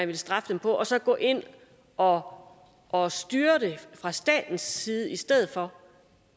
vil straffe dem på og så gå ind og og styre det fra statens side i stedet for